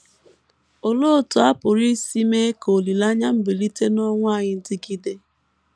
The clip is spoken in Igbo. Olee otú a pụrụ isi mee ka olileanya mbilite n’ọnwụ anyị dịgide?